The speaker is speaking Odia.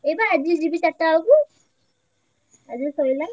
ଏଇ ବା ଆଜି ଯିବି ଚାରିଟା ବେଳକୁ ଆଜି ସରିଲା।